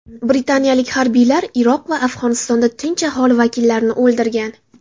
Britaniyalik harbiylar Iroq va Afg‘onistonda tinch aholi vakillarini o‘ldirgan.